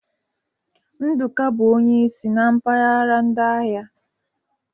Nduka bụ onye isi na mpaghara ndị agha.